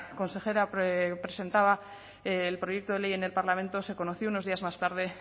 consejera presentaba el proyecto de ley en el parlamento se conoció unos días más tarde